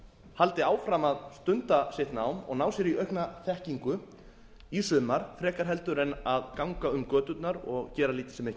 haldi áfram að stunda sitt nám og ná sér í aukna þekkingu í sumar frekar en að ganga um göturnar og gera lítið sem ekki